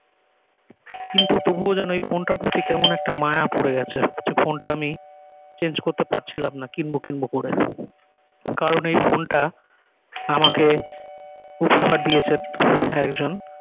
কিন্তু তবুও যেনও এই ফোন টার প্রতি কেমন একটা মায়া পরে গেছে অথচ ফোন টা আমি change করতে পারছিলাম না কিনব কিনব করে কারণ এই ফোন টা আমাকে উপহার দিয়েছে একজন